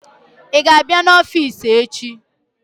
i ga-abia n'ofici echi?